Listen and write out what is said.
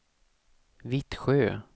Vittsjö